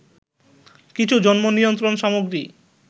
কিছু জন্ম নিয়ন্ত্রণ সামগ্রী